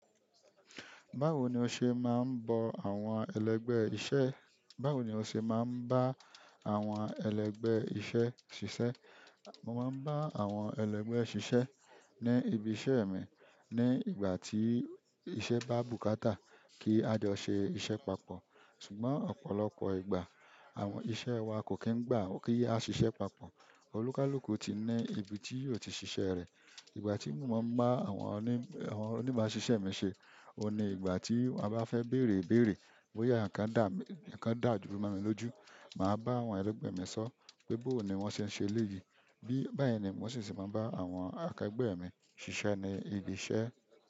Báwo ni o ṣe máa ń bo àwọn ẹlẹgbẹ́ iṣẹ́, báwo ni o ṣe máa ń bá àwọn ẹlẹgbẹ́ iṣẹ́ ṣiṣẹ́? Mo máa ń bá àwọn ẹlẹgbẹ́ ṣiṣẹ́ ní ibi iṣẹ́ mi ní ìgbà tí iṣẹ́ bá bùkátà kí a jọ ṣe iṣẹ́ papọ̀. Ṣùgbọ́n ọ̀pọ̀lọpọ̀ ìgbà àwọn iṣẹ̀ wa kò kí ń gbà kí á ṣiṣẹ́ papọ̀. Olúkálúkù ti ni ibi tí yóò ti ṣiṣẹ́ rẹ̀. Ìgbà tí mo máa ń bá àwọn onímọ̀ṣiṣẹ́ mi ṣé, ó ni ìgbà tí wọ́n bá fẹ́ bèrèbèrè bóyá ǹkan dààru mo mí lójú, màá bá àwọn ẹlẹgbẹ́ mi sọ pé bó ni wọ́n ṣe ń ṣe léyìí. Bẹ́ẹ̀ ni mo sì ti máa ń bá àwọn akẹgbẹ́ mi ṣiṣẹ́ ní ibi iṣẹ́.